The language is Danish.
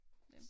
Hvem